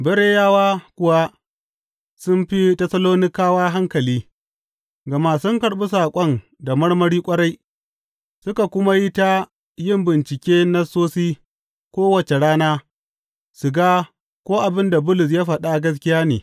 Bereyawa kuwa sun fi Tessalonikawa hankali, gama sun karɓi saƙon da marmari ƙwarai, suka kuma yi ta yin bincike Nassosi kowace rana su ga ko abin da Bulus ya faɗa gaskiya ne.